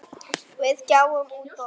Við gáfum út bók.